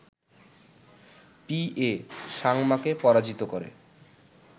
P A সাংমাকে পরাজিত করে